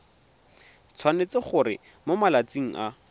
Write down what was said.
tshwanetse gore mo malatsing a